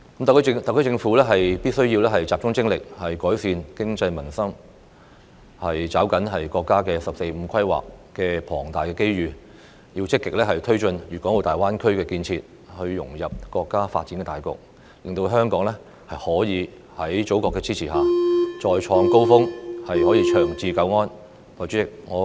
特區政府必須集中精力，改善經濟民生，抓緊國家"十四五"規劃帶來的龐大機遇，積極推進粵港澳大灣區建設，融入國家發展大局，令香港在祖國的支持下，得以再創高峰，長治久安。